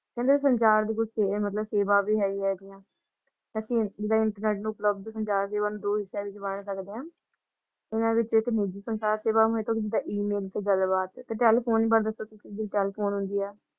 ਕਹਿੰਦੇ ਸੰਚਾਰ ਮਤਲਬ ਸੇਵਾ ਵੀ ਹੈ ਇਹ ਦੀਆਂ ਅੱਸੀ ਜਿਦਾ internet ਉਪਲਬਧ ਹੁੰਦਾ ਵੀ ਓਹਨੂੰ ਸਕਦੇ ਹਾ e-mail ਤੇ ਗੱਲ ਬਾਤ ਤੇ ਟੈਲੀਫੋਨ